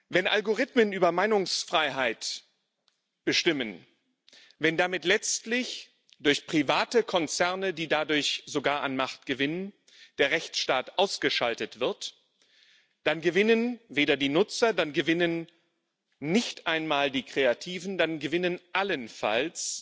Wenn Algorithmen über Meinungsfreiheit bestimmen, wenn damit letztlich durch private Konzerne die dadurch sogar an Macht gewinnen der Rechtsstaat ausgeschaltet wird, dann gewinnen weder die Nutzer, dann gewinnen nicht einmal die Kreativen, dann gewinnen allenfalls